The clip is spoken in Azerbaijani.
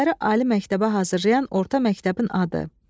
Şagirdləri ali məktəbə hazırlayan orta məktəbin adı.